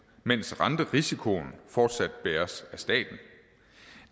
mens renterisikoen fortsat bæres af staten